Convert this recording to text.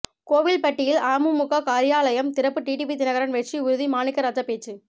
கோவில்பட்டியில் அமமுக காரியாலயம் திறப்பு டிடிவி தினகரன் வெற்றி உறுதி மாணிக்கராஜா பேச்சு